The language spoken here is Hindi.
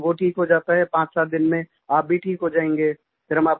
तो जैसे वो ठीक हो जाता है पांचसात दिन में आप भी ठीक हो जायेंगे